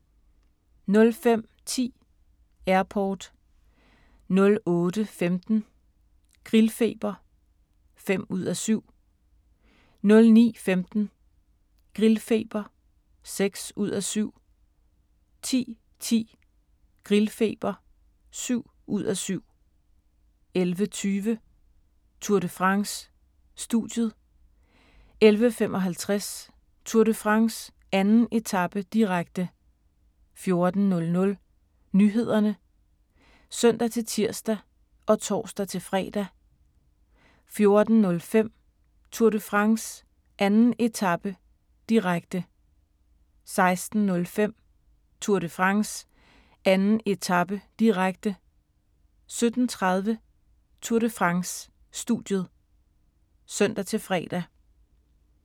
05:10: Airport 08:15: Grillfeber (5:7) 09:15: Grillfeber (6:7) 10:10: Grillfeber (7:7) 11:20: Tour de France: Studiet 11:55: Tour de France: 2. etape, direkte 14:00: Nyhederne (søn-tir og tor-fre) 14:05: Tour de France: 2. etape, direkte 16:05: Tour de France: 2. etape, direkte 17:30: Tour de France: Studiet (søn-fre)